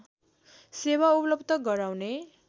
सेवा उपलव्ध गराउने